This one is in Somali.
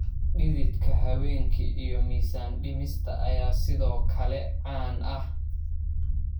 Dhididka habeenkii iyo miisaan dhimista ayaa sidoo kale caan ah.